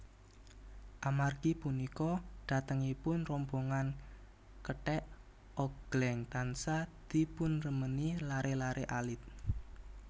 Amargi punika dhatengipun rombongan kethèk ogléng tansah dipunremeni laré laré alit